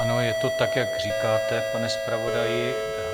Ano, je to tak, jak říkáte, pane zpravodaji.